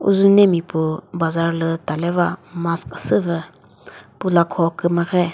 uzunemi pu bazaar lü taleva mask ko süvü pü lakho kümüre.